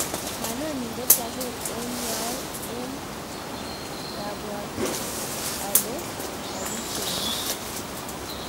manoni ngokiageer eng' yoe eng' taiabwoti ale kakicheng'u